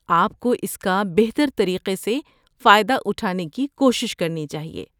آپ کو اس کا بہتر طریقے سے فائدہ اٹھانے کی کوشش کرنی چاہیے۔